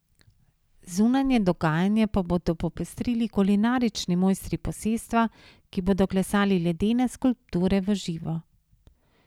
Zunanje dogajanje pa bodo popestrili kulinarični mojstri posestva, ki bodo klesali ledene skulpture v živo.